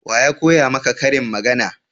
waya koya maka ƙarin magana?